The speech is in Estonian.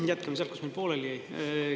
No jätkame sealt, kus meil pooleli jäi.